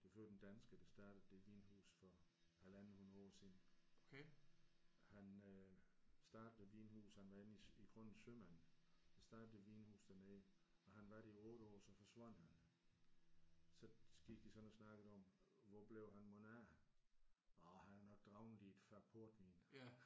Det er for øvrigt en dansker der startede det vinhus for halvandet hundrede år siden. Han øh startede det vinhus han var egentlig i grunden sømand han startede det vinhus dernede og han var der i 8 år og så forsvandt han. Så gik de sådan og snakkede om hvor blev han mon af. Åh han er nok druknet i et fad portvin!